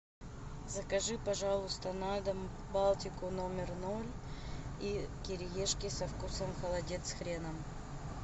закажи пожалуйста на дом балтику номер ноль и кириешки со вкусом холодец с хреном